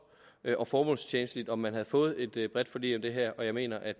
og formålstjenligt om man havde fået et bredt forlig om det her og jeg mener at